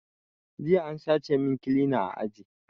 Jiya an sace min kilina a aji